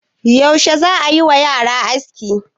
Yaushe za a yi wa yara aski?